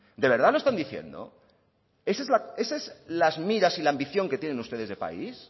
de verdad lo están diciendo esa es las miras y la ambición que tienen ustedes de país